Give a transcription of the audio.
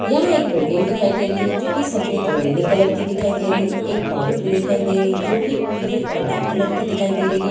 यह एक बिल्डिंग दिखाई दे रही है जो कि सफ़ेद और नीले कलर की दिखाई दे रही है एक बाउंड्री दिखाई दे रही है जो कि पीले और लाल कलर की दिखाई दे रही है।